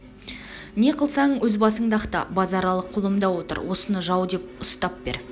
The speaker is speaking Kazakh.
не қылсаң өз басыңды ақта базаралы қолымда отыр осыны жау деп ұстап бер